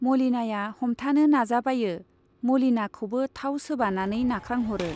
मलिनाया हमथानो नाजाबायो, मलिना खौबो थाव सोबानानै नाख्रांह'रो।